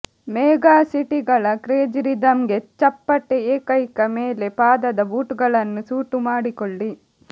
ಮೆಗಾಸಿಟಿಗಳ crazy ರಿದಮ್ಗೆ ಚಪ್ಪಟೆ ಏಕೈಕ ಮೇಲೆ ಪಾದದ ಬೂಟುಗಳನ್ನು ಸೂಟು ಮಾಡಿಕೊಳ್ಳಿ